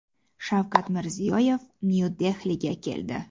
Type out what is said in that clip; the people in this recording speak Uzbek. Shavkat Mirziyoyev Nyu-Dehliga keldi.